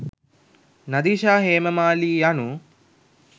නදීෂා හේමමාලී යනු